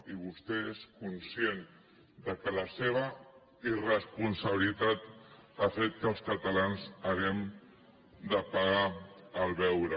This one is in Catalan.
i vostè és conscient que la seva irresponsabilitat ha fet que els catalans hàgim de pagar el beure